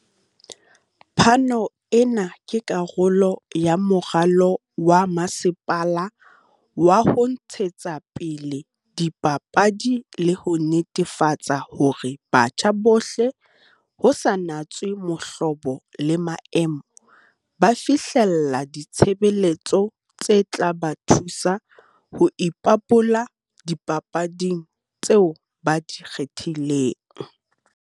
"Phano ena ke karolo ya moralo wa masepala wa ho ntshetsapele dipapadi le ho netefatsa hore batjha bohle, ho sa natswe mohlobo le maemo, ba fihlella ditshebeletso tse tla ba thusa ho ipabola dipapading tseo ba di kgethileng."